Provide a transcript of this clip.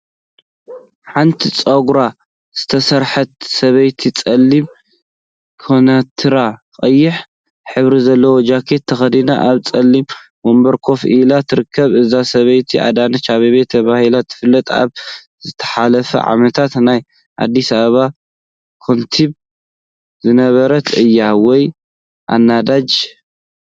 ሓንቲ ፀጉራ ዝተሰርሐት ሰበይቲ ፀሊም ከናቲራን ቀይሕ ሕብሪ ዘለዎ ጃኬትን ተከዲና አብ ፀሊም ወንበር ኮፈ ኢላ ትርከብ፡፡ እዛ ሰበይቲ አዳነች አብቤ ተባሂላ ትፍለጥ፡፡ አብ ዝሓለፈ ዓመታት ናይ አዲሰ አበባ ከንቲባ ዝነበረት እያ፡፡ ወይ አዳነች!